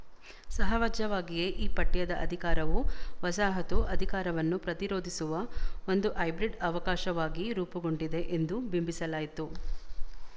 ಸಹಜವಾಗಿಯೇ ಈ ಪಠ್ಯದ ಅಧಿಕಾರವು ವಸಾಹತು ಅಧಿಕಾರವನ್ನು ಪ್ರತಿರೋಧಿಸುವ ಒಂದು ಹೈಬ್ರಿಡ್ ಅವಕಾಶವಾಗಿ ರೂಪುಗೊಂಡಿದೆ ಎಂದು ಬಿಂಬಿಸಲಾಯ್ತು